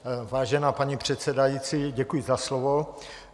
Vážená paní předsedající, děkuji za slovo.